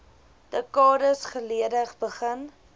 dekades gelede begin